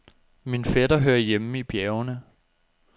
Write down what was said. Min fætter hører hjemme i bjergene.